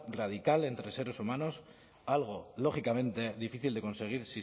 radical entre seres humanos algo lógicamente difícil de conseguir